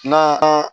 Na